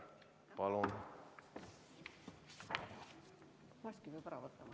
Palun!